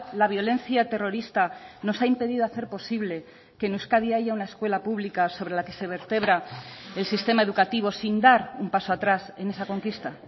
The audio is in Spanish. la violencia terrorista nos ha impedido hacer posible que en euskadi haya una escuela pública sobre la que se vertebra el sistema educativo sin dar un paso atrás en esa conquista